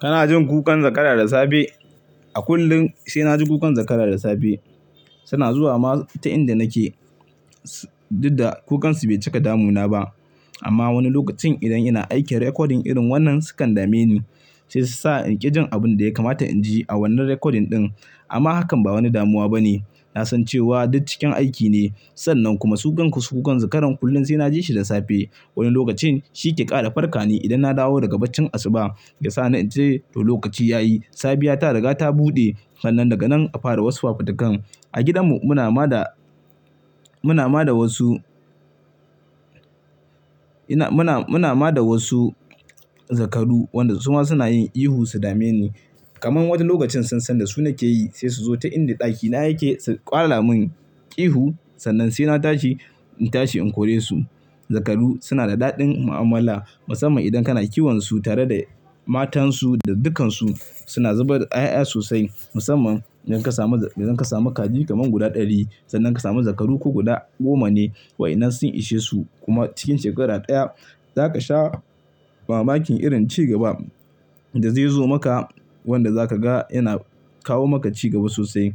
Kana jin kukan zakara da safe? A kullum sai na ji kukan zakara da safe. Suna zuwa ma ta inda nake, dukka da kukansu bai cika damuna ba. Amma wani lokacin idan ina aikin recording irin wannan sukan dame ni, sai su sa in ƙi jin abin da ya kamata in ji a wannan recording ɗin. Amma hakan ba wani damuwa bane. Na san cewa duk cikin aiki ne. Sannan kuma su kan su kukan zakaran kullum sai na ji shi da safe. Wani lokacin shi ke ƙara farka ni idan na dawo daga bacin asuba. Ya sa ni in ce to lokaci ya yi. Safiya ta riga ta buɗe, sannan daga nan a fara wasu fafutukan. A gidanmu muna ma da, muna ma da wasu, ina muna, muna ma da wasu zakaru wanda su ma suna yin ihu su dame ni. Kaman wata lokacin sannan da su nake yi sai su zo ta inda ɗakina yake su ƙwala mun ihu. Sannan sai na tashi, in tashi in kore su. Zakaru suna da daɗin mu'amala musamman idan kana kiwon su tare da matansu da dukkansu suna zubar da 'ya'ya sosai musamman idan ka samu, idan ka samu kaji kaman guda ɗari. Sannan ka samu zakaru ko guda goma ne. Wa'inan sun ishe su kuma cikin shekara ɗaya za ka sha mamakin irin ci gaba da zai zo maka wanda za ka ga yana kawo maka ci gaba sosai.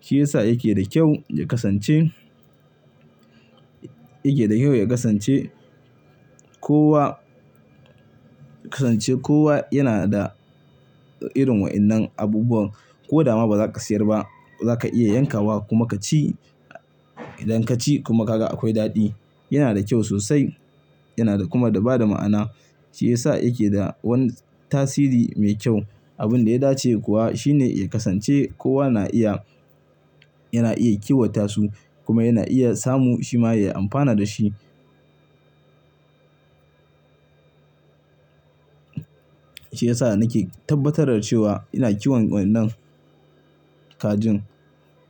Shi yasa yake da kyau ya kasance, yake da kyau ya kasance kowa, kasance kowa yana da irin wa'ennan abubuwan. Ko dama ba za ka sayar ba, zaka iya yanka wa kuma ka ci. Idan ka ci kuma ka ga akwai daɗi. Yana da kyau sosai yana da kuma da ba da ma'ana. Shi yasa yake da wani tasiri mai kyau. Abin da ya dace kuwa shine ya kasance kowa na iya, yana iya kiwata su kuma yana iya samu shi ma ya amfana da shi. Shi yasa nake tabbatar da cewa ina kiwon wa'ennan kajin.